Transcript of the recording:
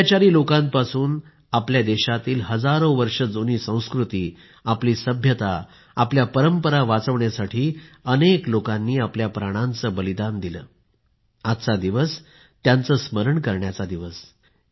अत्याचारी लोकांपासून आपल्या देशातील हजारो वर्ष जुनी संस्कृती सभ्यता आपल्या परंपरा वाचविण्यासाठी अनेक लोकांनी आपल्या प्राणांचे बलिदान दिले आहे आजचा दिवस त्याचे स्मरण करण्याचा आहे